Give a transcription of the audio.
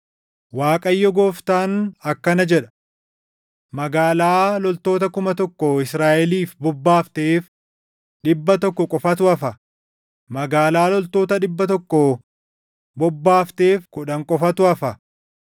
Waaqayyo Gooftaan akkana jedha: “Magaalaa loltoota kuma tokko Israaʼeliif bobbaafteef dhibba tokko qofatu hafa; magaalaa loltoota dhibba tokko bobbaafteef kudhan qofatu hafa.”